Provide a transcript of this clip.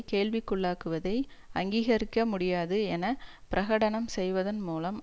கேள்விக்குள்ளாக்குவதை அங்கீகரிக்க முடியாது என பிரகடனம் செய்வதன் மூலம்